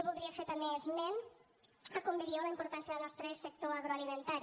voldria fer també esment de com bé dieu la importància del nostre sector agroalimentari